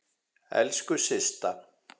Elsku Systa.